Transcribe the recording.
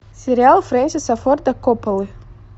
сериал френсиса форта копполы